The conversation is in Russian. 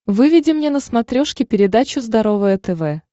выведи мне на смотрешке передачу здоровое тв